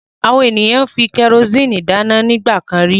Àwọn ènìyàn fi kẹrósíínì dáná nígbà kan rí.